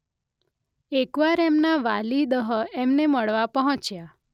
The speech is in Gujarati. એકવાર એમનાં વાલિદહ એમને મળવા પહોંચ્યા